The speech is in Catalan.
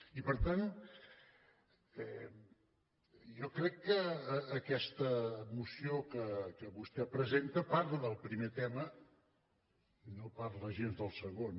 i per tant jo crec que aquesta moció que vostè presenta par·la del primer tema i no parla gens del segon